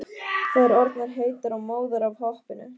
Þær orðnar heitar og móðar af hoppinu.